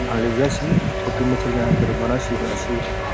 आगे रेया छी छोटी मच्छलियाँ --